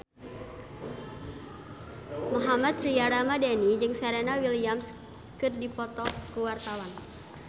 Mohammad Tria Ramadhani jeung Serena Williams keur dipoto ku wartawan